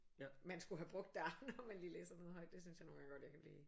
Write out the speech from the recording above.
Man skulle have brugt der når man lige læser noget højt det synes jeg nogle gange godt jeg kan blive